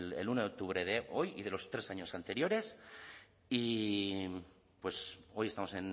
el uno de octubre de hoy y de los tres años anteriores y hoy estamos